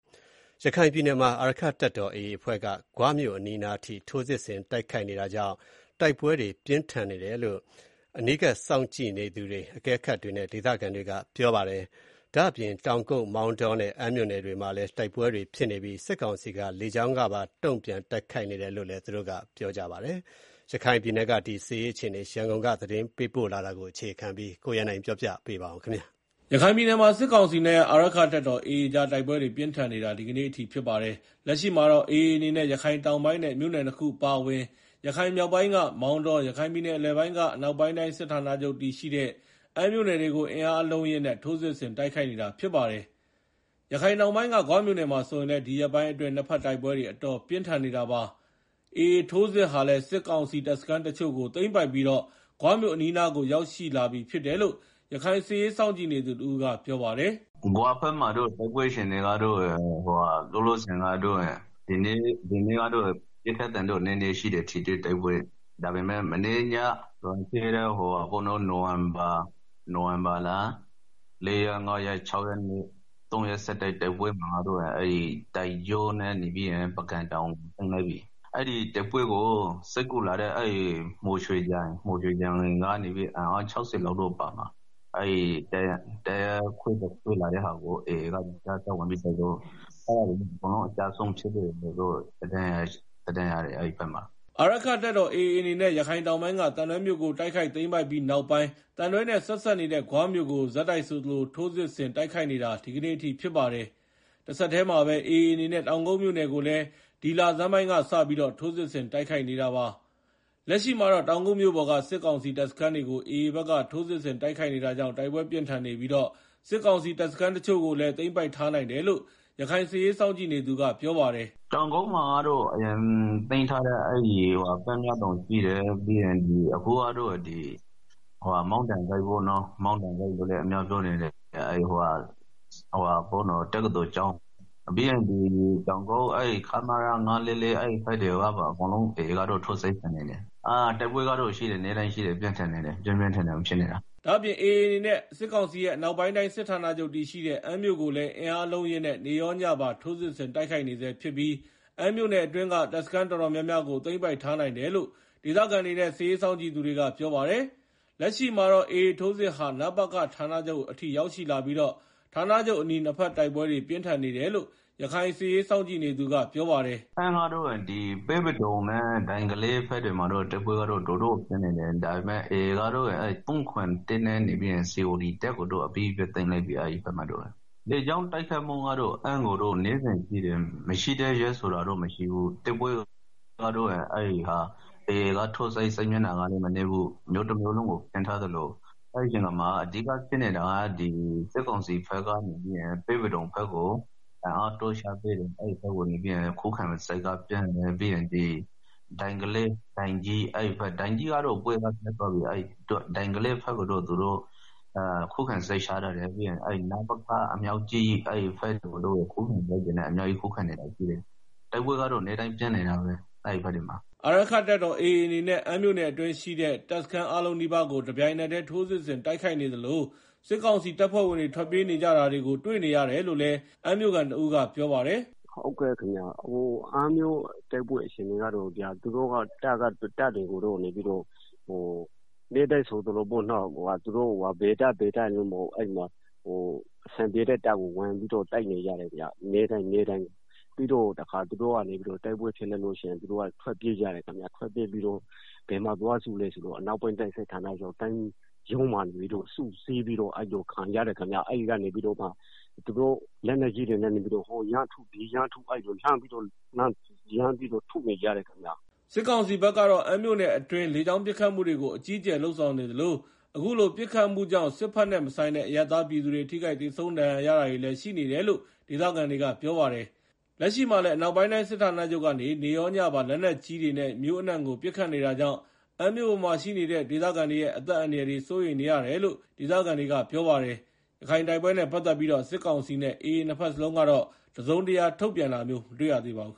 ရခိုင်ပြည်နယ်မှာ အာရက္ခတပ်တော် AA အဖွဲ့က ဂွမြို့နားအထိ ထိုးစစ်ဆင်တိုက်ခိုက်နေတာကြောင့် တိုက်ပွဲတွေပြင်းထန်နေတယ်လို့ အကဲခတ်တွေနဲ့ ဒေသခံတွေက ပြောပါတယ်။ တောင်ကုတ်၊ မောင်တောနဲ့ အမ်းမြို့နယ်တွေမှာလည်း တိုက်ပွဲတွေဖြစ်နေပြီး စစ်ကောင်စီက လေကြောင်းကပါ တုံ့ပြန်တိုက်ခိုက်နေတယ်လို့လည်း ပြောပါတယ်။ရခိုင်ပြည်နယ်က စစ်ရေးအခြေအနေ ရန်ကုန်ကသတင်းပေးပို့ထားတာကို ကိုရန်နိုင် တင်ပြထားပါတယ်။ ရခိုင်ပြည်နယ်မှာ စစ်ကောင်စီနဲ့ အာရက္ခတပ်တော် AA ကြား တိုက်ပွဲတွေပြင်းထန်နေတာ ဒီကနေ့ အထိ ဖြစ်ပါတယ်။လက်ရှိမှာတော့ AA အနေနဲ့ ရခိုင်တောင်ပိုင်းနဲ့ မြို့နယ်နှစ်ခုအပါအဝင် ရခိုင် မြောက်ပိုင်းက မောင်တော၊ ရခိုင်ပြည်နယ်အလယ်ပိုင်းက အနောက်ပိုင်းတိုင်းစစ်ဌာန ချုပ်တည်ရှိတဲ့ အမ်းမြို့နယ်တွေကို အင်အားအလုံးအရင်းနဲ့ ထိုးစစ်ဆင်တိုက်ခိုက်နေတာလည်းဖြစ်ပါတယ်။ ရခိုင်တောင်ပိုင်းက ဂွမြို့နယ်မှာဆိုရင်လည်း ဒီရက်ပိုင်းအတွင်း နှစ်ဘက်တိုက်ပွဲတွေ အတော်ပြင်းထန် နေတာပါ။AAထိုးစစ်တွေမှာ စစ်ကောင်စီတပ်စခန်းတချို့ကို သိမ်းပိုက်ထားနိုင်ပြီး ဂွမြို့နားအထိ ရောက်လာပြီလို့ ရခိုင်စစ်ရေးစောင့်ကြည့်နေသူတဦးကပြောပါတယ်။ “ဂွဘက်မှာတော့ တိုက်ပွဲအခြေအနေကတော့ ဒီနေ့ကတော့ ပစ်ခတ်သံတော့နည်းနည်းရှိတယ်။ ထိတွေ့ တိုက်ပွဲ၊ ဒါပေမယ့် နိုင်ဝင်ဘာလ ၄ ရက်၊ ၅ ရက်၊ ၆ ရက်- ၃ ရက်ဆက်တိုက် တိုက်ပွဲမှာကတော့ တိုင်ကျိုးနဲ့ ပုဂံတောင်ကို သိမ်းလိုက်ပြီ။ အဲဒီတိုက်ပွဲကို စစ်ကူလာတဲ့ မော်ရွှေကြိုင်ကနေ အင်အား ၆ဝ လောက်ပါတဲ့ တပ်ခွဲတခွဲကို AA က ကြားဖြတ်ဝင်တိုက်လို့ အကျဆုံးများတယ်လို့ သတင်းရတယ်အဲဒီ ဘက်မှာ။” အာရက္ခတပ်တော် AA အနေနဲ့ ရခိုင်တောင်ပိုင်းက သံတွဲမြို့ကို တိုက်ခိုက်သိမ်းပိုက်ပြီးနောက်ပိုင်း သံတွဲနဲ့ ဆက်စပ်နေတဲ့ ဂွမြို့ကို ဒီနေ့အထိ ဆက်တိုက် ထိုးစစ်တိုက်ခိုက်လာတာပါတယ်။ တဆက်တည်းမှာပဲ AAအနေနဲ့ တောင်ကုတ်မြို့နယ်ကိုလည်း ဒီလဆန်းပိုင်းကစပြီးတော့ ထိုးစစ်ဆင် တိုက်ခိုက်နေတာပါ။ လက်ရှိမှာတော့ တောင်ကုတ်မြို့ပေါ်က စစ်ကောင်စီတပ်စခန်းတွေကို AAဘက်က ထိုးစစ်ဆင်တိုက်ခိုက်နေတာကြောင့် တိုက်ပွဲပြင်းထန်နေပြီး စစ်ကောင်စီတပ်စခန်းတချို့ကိုလည်း သိမ်းပိုက်ထားနိုင်တယ်လို့ ရခိုင်စစ်ရေးစောင့်ကြည့်နေသူ ကပြောပါတယ်။ “တောင်ကုတ်မှာကတော့ အရင်သိမ်းထားတဲ့ ပန်းမြောက်တောင်ရှိမယ်။ အခုကတော့ မောင်းတံဂိတ် ပေါ့နော်။ တောင်ကုတ်တက္ကသိုလ်ကျောင်း။ နောက်ပြီးတော့ ခမရ ၅၄၄ အဲဒီဘက်ကို တွေကိုပါ အကုန်လုံးကို AA က ထိုးစစ်ဆင်နေတာ။တိုက်ပွဲကတော့ နေ့တိုင်းဖြစ်နေတယ်။ ပြင်းပြင်းထန်ထန်ကို ဖြစ်နေတာ။” ဒ့ါအပြင် AA အနေနဲ့ စစ်ကောင်စီရဲ့ အနောက်ပိုင်းတိုင်းစစ်ဌာချုပ်တည်ရှိတဲ့ အမ်းမြို့ကိုလည်း အင်းအားအလုံးအရင်းနဲ့နေ့ရောညပါ ထိုးစစ်ဆင်တိုက်ခိုက်နေဆဲဖြစ်ပြီး အမ်းမြို့အတွင်းက တပ်စခန်းတော်တော်များများကို သိမ်းပိုက်ထားနိုင်တယ်လို့ ဒေသခံတွေနဲ့ စစ်ရေးစောင့်ကြည့် သူတွေကပြောပါတယ်။ လက်ရှိမှာတော့ AAထိုးစစ်ဟာ နပခဌာနချုပ်အထိ ရောက်ရှိလာပြီး ဌာနချုပ်အနီး နှစ်ဘက်တိုက်ပွဲတွေ ပြင်းထန်နေတယ်လို့ ရခိုင်စစ်ရေးစောင့်ကြည့်နေသူကပြောပါတယ်။ “အမ်းမှာတော့ ပဲပဒုံနဲ့ ဒိုင်ကလေးဘက်တွေမှာ တိုက်ပွဲတွေကတော့ ပြင်းနေတယ်။ AA ဘက်ကတော့ ၃၇၁ နဲ့ COT တပ်ကိုတော့ သိမ်းလိုက်ပြီ။ အမ်းကို လေကြောင်းတိုက်ခိုက်မှုလည်း နေ့တိုင်းရှိတယ်။ မရှိတဲ့နေ့ဆိုတာမရှိဘူး။ AAစစ်မျက်နှာကလည်း မနည်းဘူး။ တမြို့လုံးကိုဖြန့်ထားတာ။ အဲဒီမှာ အဓိကဖြစ်နေတာ စစ်ကောင်စီဘက်က ပဲပဒုံကိုဘက်ကို စစ်အင်အားတွေဖြည့်ပေးထားတယ်။ ပြီးတော့ ဒိုင်ကလေးဘက်ကို ခုခံစစ်ပြင်ထားတယ်။ ပြီးတော့ နပခ ဘက်ကို ခုခံစစ်တွေပြင်ပြီးတော့ ခုခံနေတယ်။ တိုက်ပွဲကတော့ နေ့တိုင်းပြင်းထန်နေတယ်။” အာရက္ခတပ်တော်AAအနေနဲ့ အမ်းမြို့နယ်အတွင်းရှိတဲ့ တပ်စခန်းအားလုံးနီးပါးကို တပြိုင်နက်တည်း ထိုးစစ်ဆင်တိုက်နေသလို စစ်ကောင်စီတပ်ဖွဲ့ဝင်တွေ ထွက်ပြေးနေကြတာတွေကို တွေ့နေရတယ် လို့လည်း အမ်းမြို့ခံတဦးကပြောပါတယ်။ “တိုက်ပွဲအခြေအနေကတော့ အမ်းမှာနေ့တိုင်းဆိုသလို ဘယ်တပ်ရယ်လို့မဟုတ်ဘူး။ အဆင်ပြေတဲ့ တပ်တွေကို ဝင်တိုက်နေတာ။ ပြီးတော့တခါ သူတို့က တိုက်ပွဲဖြစ်ရင် ထွက်ပြေးကြတယ်။ ပြီးတော့ အနောက်ပိုင်းစစ်ဌာနချုပ်မှာသွားပြီးစုပြီးတော့ ခုခံကြတယ်၊ အဲဒီ့ကနေ လက်နက်ကြီးတွေနဲ့ ဟိုလှမ်းထု ဒီလှမ်းထုနဲ့ အဲ့လို ရမ်းထုနေကြတယ်ခင်ဗျာ။” စစ်ကောင်စီဘက်ကတော့ အမ်းမြို့နယ်အတွင်း လေကြောင်းကနေ အကြီးအကျယ်ပစ်ခတ်နေသလို အခုလိုပစ်ခတ်မှုတွေကြောင့် ထိခိုက်သေဆုံးဒဏ်ရာရကုန်ကြတဲ့ စစ်ဘက်နဲ့မဆိုင်တဲ့ အရပ်သားပြည်သူတွေလည်း ရှိနေတယ်လို့လည်းဒေသခံတွေကပြောပါတယ်။ လက်ရှိမှာလည်း အနောက်ပိုင်းတိုင်းစစ်ဌာနချုပ်ကနေ နေ့ရောညပါ လက်နက်ကြီးတွေနဲ့ မြို့အနှံ့ကို ပစ်ခတ်နေတာကြောင့် အမ်းမြို့ပေါ်မှာ ရှိနေတဲ့ ဒေသခံရဲ့ အသက် အန္တရာယ်စိုးရိမ်နေရတယ်လို့ ဒေသခံတွေက ဆိုပါတယ်။ ရခိုင်တိုက်ပွဲတွေနဲ့ ပတ်သက်လို့ စစ်ကောင်စီနဲ့ AA နှစ်ဘက်လုံးက တစုံတရာ ထုတ်ပြန်တာမျိုးမတွေ့ရသေးပါဘူး။